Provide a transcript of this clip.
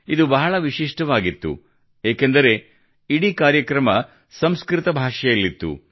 ಇದು ಬಹಳ ವಿಶಿಷ್ಟವಾಗಿತ್ತು ಏಕೆಂದರೆ ಇಡೀ ಕಾರ್ಯಕ್ರಮ ಸಂಸ್ಕೃತ ಭಾಷೆಯಲ್ಲಿತ್ತು